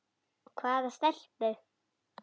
Hvaða stelpu?